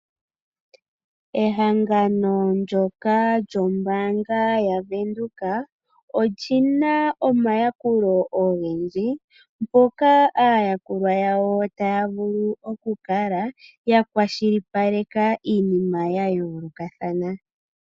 Ehangano ndyoka lyombaanga yaVenduka oli na omayakulo ogendji, moka aayakulwa yawo taya vulu okukala yakwashilipaleka iinima ya yoolokathana.